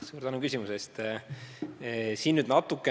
Suur tänu küsimuse eest!